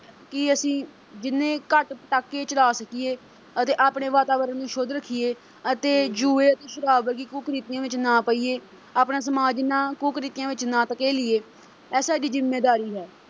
ਕਿ ਅਸੀਂ ਜਿੰਨੇ ਘੱਟ ਪਟਾਕੇ ਚਲਾ ਸਕੀਏ ਅਤੇ ਆਪਣੇ ਵਾਤਾਵਰਨ ਨੂੰ ਸ਼ੁੱਧ ਰੱਖੀਏ ਅਤੇ ਜੂਏ ਤੇ ਸ਼ਰਾਬ ਵਰਗੀ ਕੁ ਅਹ ਕੁਰੀਤੀਆਂ ਵਿੱਚ ਨਾ ਪਈਏ ਆਪਣਾ ਸਮਾਜ ਇੰਨ੍ਹਾ ਕੁ-ਕੁਰੀਤੀਆਂ ਵਿੱਚ ਨਾ ਧਕੇਲੀਏ ਇਹ ਸਾਡੀ ਜਿੰਮੇਵਾਰੀ ਹੈ।